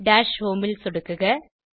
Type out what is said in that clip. dash home ல் சொடுக்குக